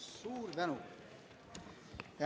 Suur tänu!